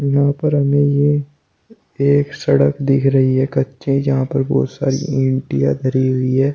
यहां पर हमें ये एक सड़क दिख रही है कच्ची जहां पर बोहोत सारी ईटयां धरी हुई है।